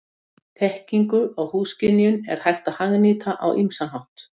Þekkingu á húðskynjun er hægt að hagnýta á ýmsan hátt.